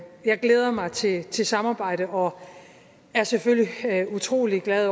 jeg glæder mig til til samarbejdet og er selvfølgelig utrolig glad